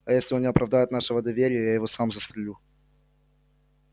а если он не оправдает нашего доверия я его сам застрелю